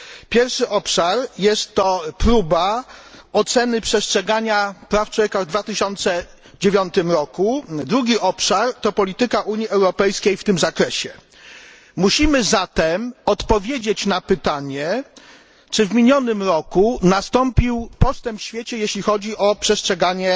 Pierwszy obszar to próba oceny przestrzegania praw człowieka w 2009 roku, drugi obszar to polityka Unii Europejskiej w tym zakresie. Musimy zatem odpowiedzieć na pytanie, czy w minionym roku nastąpił postęp w świecie, jeśli chodzi o przestrzeganie